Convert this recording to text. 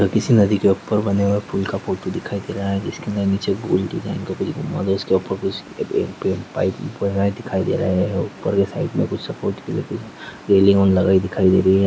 किसी नदी के ऊपर बने हुए पूल का फ़ोटो दिखाई दे रहा है जिसके अंदर नीचे गोल डिज़ाइन का कुछ बना हुआ है उसके ऊपर कुछ दिखाई दे रहा है और ऊपर के साइड मे कुछ सपोर्ट के लिए रेलिंग लगी दिखाई दे रही है।